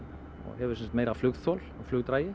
hefur sem sagt meira flugþol og